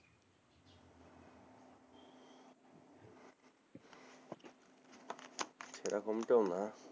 সেরকম টাও না,